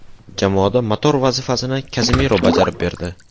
Jamoada motor vazifasini Kazemiro bajarib berdi.